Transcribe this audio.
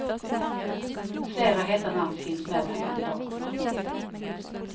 Flera heta namn finns med bland kandidaterna.